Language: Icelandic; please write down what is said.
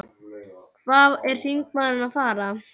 Hvað er þingmaðurinn að fara?